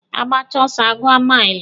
Agbacha ọsọ a gụọ maili.